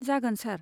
जागोन सार।